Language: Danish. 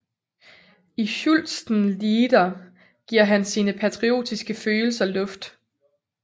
I Schützenlieder giver han sine patriotiske følelser luft